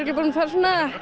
búin að fara svona